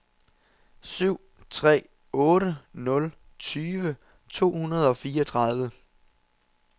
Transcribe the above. syv tre otte nul tyve to hundrede og fireogtredive